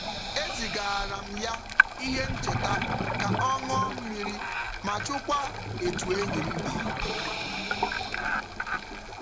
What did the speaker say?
E zigaara m ya ihe ncheta ka ọ ṅụọ mmiri ma jụkwaa etu enyi m dị.